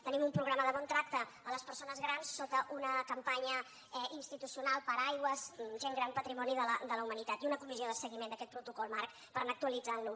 tenim un programa de bon tracte a les persones grans sota una campanya institucional paraigua gent gran patrimoni de la humanitat i una comissió de seguiment d’aquest protocol marc per anar actualitzant lo